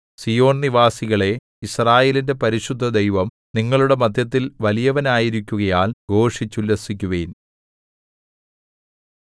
സീയോൻ നിവാസികളേ യിസ്രായേലിന്റെ പരിശുദ്ധദൈവം നിങ്ങളുടെ മദ്ധ്യത്തിൽ വലിയവനായിരിക്കുകയാൽ ഘോഷിച്ചുല്ലസിക്കുവിൻ